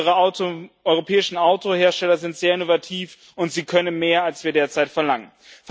Unsere europäischen Autohersteller sind sehr innovativ, und sie können mehr, als wir derzeit verlangen.